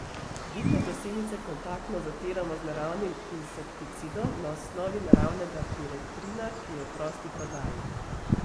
Vidne gosenice kontaktno zatiramo z naravnim insekticidom na osnovi naravnega piretrina, ki je v prosti prodaji.